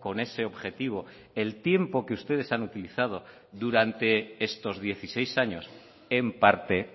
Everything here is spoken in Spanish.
con ese objetivo el tiempo que ustedes han utilizado durante estos dieciséis años en parte